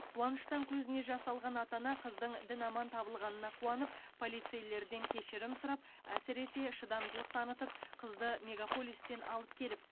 қуаныштан көзіне жас алған ата ана қыздың дін аман табылғанына қуанып полицейлерден кешірім сұрап әсіресе шыдамдылық танытып қызды мегаполистен алып келіп